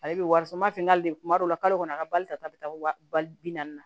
Ale bɛ wari sɔrɔ n b'a fɔ n ka de kuma dɔ la kalo kɔnɔ a ka bali ka taa bɛ taa wali bi naani na